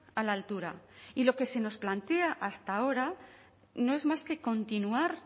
a la altura y lo que se nos plantea hasta ahora no es más que continuar